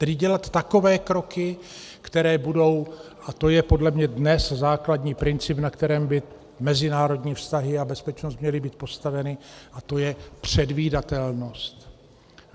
Tedy dělat takové kroky, které budou - a to je podle mě dnes základní princip, na kterém by mezinárodní vztahy a bezpečnost měly být postaveny - a to je předvídatelnost.